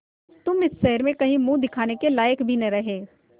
तुम शहर में कहीं मुँह दिखाने के लायक भी न रहे